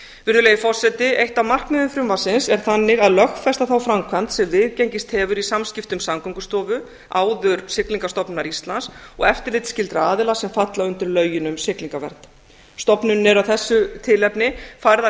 virðulegi forseti eitt af markmiðum frumvarpsins er þannig að lögfesta þá framkvæmd sem viðgengist hefur í samskiptum samgöngustofu áður siglingastofnunar íslands og eftirlitsskyldra aðila sem falla undir lögin um siglingavernd stofnuninni er að þessu tilefni færðar